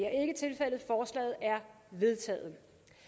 er vedtaget